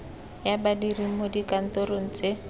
ya badiri mo dikantorong tse